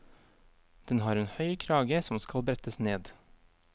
Den har en høy krage som skal brettes ned.